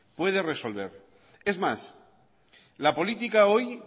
puede resolver es más la política hoy